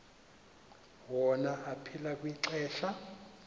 wona aphila kwixesha